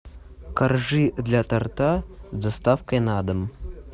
коржи для торта с доставкой на дом